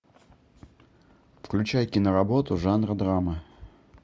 включай киноработу жанра драма